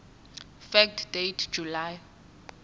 fact date july